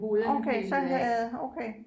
Okay så havde okay